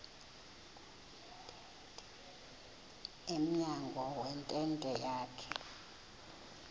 emnyango wentente yakhe